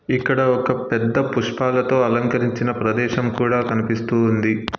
ఇక్కడ ఒక పెద్ద పుష్పాలతో అలంకరించిన ప్రదేశం కూడా కనిపిస్తూ ఉంది.